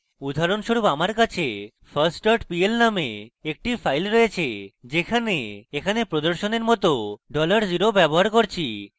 উদাহরণস্বরূপ: আমার কাছে first pl named একটি file রয়েছে যেখানে এখানে প্রদর্শনের মত $0 ব্যবহার করছি